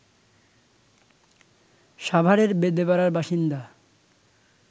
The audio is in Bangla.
সাভারের বেদেপাড়ার বাসিন্দা